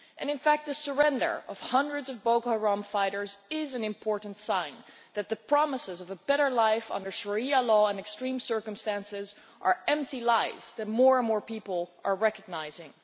In fact, the surrender of hundreds of Boko Haram fighters is an important sign that the promises of a better life under Sharia law and extreme circumstances are empty lies that more and more people are recognising.